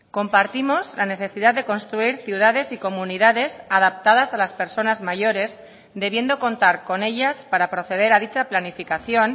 compartimos la necesidad de construir ciudades y comunidades adaptadas a las personas mayores debiendo contar con ellas para proceder a dicha planificación